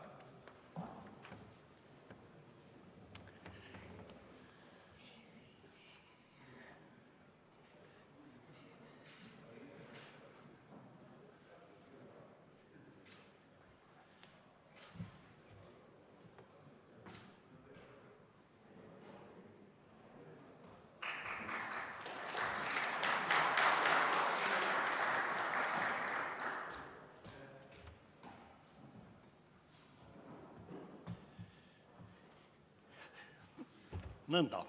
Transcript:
Nõnda.